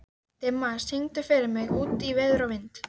Dimma, syngdu fyrir mig „Út í veður og vind“.